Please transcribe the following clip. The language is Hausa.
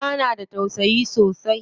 Uwa na da tausayi sosai.